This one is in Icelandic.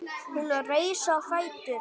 Hún reis á fætur.